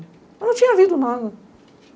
Mas não tinha havido nada.